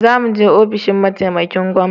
Gobe za mu je ofishin mataimakin gwangwana